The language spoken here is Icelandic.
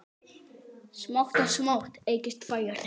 Smátt og smátt eykst færnin.